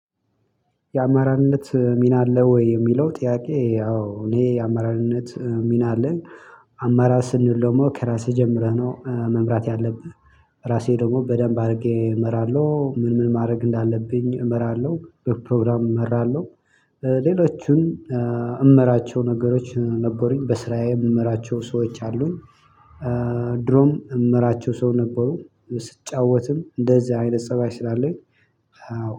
የአመራርነት ሚና አለ ወይ የሚለው ጥያቄ? ያው እኔ የአመራርነት ሚና አለኝ አማራር ስንል ደግሞ ከራስህ ጀምረህ ነው መምራት ያለብህ። ራሴ ደግሞ በደንብ አድርጌ እመራለሁ ምን ምን ማድረግ እንዳለብኝ እመራለሁ በፕሮግራም እመራለሁ። ሌሎችን እመራቸው ነገሮች ነበሩኝ በስራዬ የምመራቸው ሰዎች አሉኝ። ድሮም የምመራቸው ሰው ነበሩ ስጫወትም እንደዚህ አይነት ፀባይ ስላለኝ